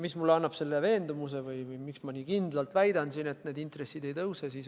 Mis annab mulle veendumuse või miks ma nii kindlalt väidan, et need intressid ei tõuse?